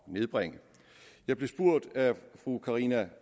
nedbringe jeg blev af fru karina